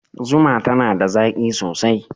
Zuma tana da zaƙi sosai.